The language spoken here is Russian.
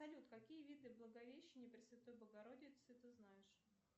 салют какие виды благовещения пресвятой богородицы ты знаешь